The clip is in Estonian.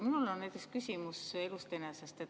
Mul on küsimus elust enesest.